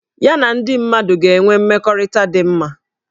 Ya na ndị mmadụ ga-enwe mmekọrịta dị mma